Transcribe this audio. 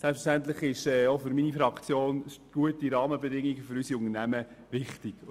Selbstverständlich sind gute Rahmenbedingungen für unsere Unternehmungen auch für meine Fraktion wichtig.